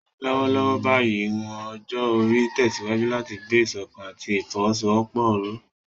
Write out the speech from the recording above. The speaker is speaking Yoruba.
Lọ́wọ́lọ́wọ́ báyìí, ìwọ̀n ọjọ́ orí ń tẹ̀síwájú láti gbé ìṣọ̀kan àti ìfọwọ́sowọ́pọ̀ ró.